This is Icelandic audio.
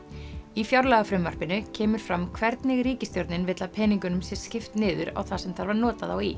í fjárlagafrumvarpinu kemur fram hvernig ríkisstjórnin vill að peningunum sé skipt niður á það sem þarf að nota þá í